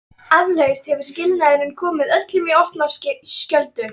Eflaust hefur skilnaðurinn komið öllum í opna skjöldu.